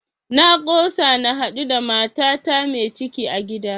Na kosa na haɗu da matata mai ciki a gida